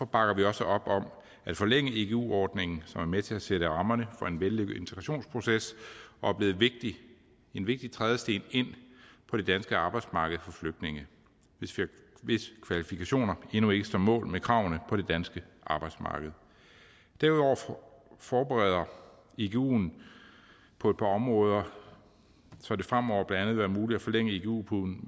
bakker vi også op om at forlænge igu ordningen som er med til at sætte rammerne for en vellykket integrationsproces og er blevet en vigtig trædesten ind på det danske arbejdsmarked for flygtninge hvis kvalifikationer endnu ikke står mål med kravene på det danske arbejdsmarked derudover forbedres iguen på et par områder så det fremover blandt andet vil være muligt at forlænge igu